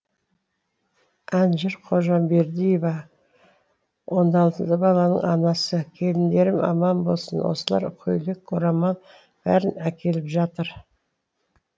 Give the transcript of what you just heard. әнжыр қожамбердиева он алты баланың анасы келіндерім аман болсын осылар көйлек орамал бәрін әкеліп жатыр